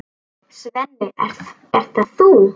Svenni, ert það þú!?